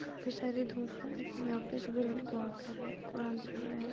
काफी साड़ी धुप है लेकिन यहाँ पर सभी लोग दुआ कर रहे हैं कुरान पढ़ रहे हैं।